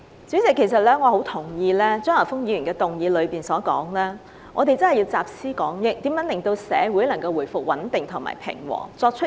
主席，我很同意張華峰議員提到要集思廣益，採取有效措施和作出相應回應，令社會回復穩定平和。